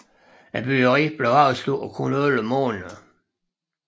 Byggeriet blev afsluttet på kun elleve måneder